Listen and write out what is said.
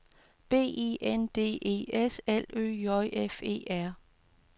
B I N D E S L Ø J F E R